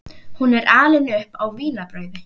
Hún er alin upp á vínarbrauði.